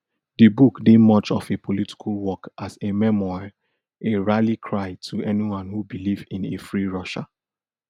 di book dey much of a political work as a memoir a rally cry to anyone who believe in a free russia